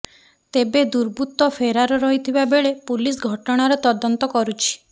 ତେବେ ଦୁର୍ବୃତ୍ତ ଫେରାର ରହିଥିବା ବେଳେ ପୁଲିସ ଘଟଣାର ତଦନ୍ତ କରୁଛି